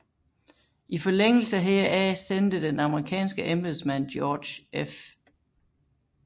I forlængelse heraf sendte den amerikanske embedsmand George F